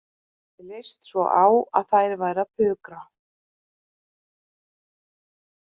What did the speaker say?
Mér leist svo á að þær væru að pukra